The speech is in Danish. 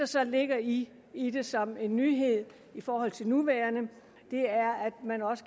så ligger i i det som en nyhed i forhold til det nuværende